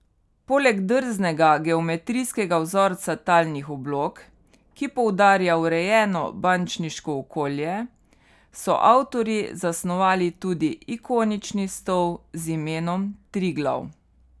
Poleg drznega geometrijskega vzorca talnih oblog, ki poudarja urejeno bančniško okolje, so avtorji zasnovali tudi ikonični stol z imenom Triglav.